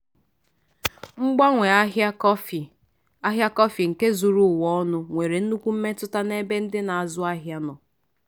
mgbanwe ahịa kọfị ahịa kọfị nke zuru ụwa ọnụ nwere nnukwu mmetụta n'ebe ndị na-azụ ahịa nọ.